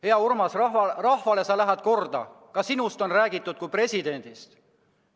Hea Urmas, sa lähed rahvale korda, ka sinust on räägitud kui tulevasest presidendist.